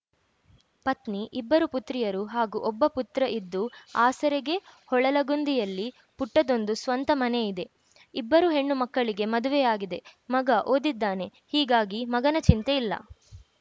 ಪತ್ನಿ ಇಬ್ಬರು ಪುತ್ರಿಯರು ಹಾಗೂ ಒಬ್ಬ ಪುತ್ರ ಇದ್ದು ಆಸರೆಗೆ ಹೊಳಲಗುಂದಿಯಲ್ಲಿ ಪುಟ್ಟದೊಂದು ಸ್ವಂತ ಮನೆಯಿದೆ ಇಬ್ಬರು ಹೆಣ್ಣು ಮಕ್ಕಳಿಗೆ ಮದುವೆಯಾಗಿದೆ ಮಗ ಓದಿದ್ದಾನೆ ಹೀಗಾಗಿ ಮಗನ ಚಿಂತೆ ಇಲ್ಲ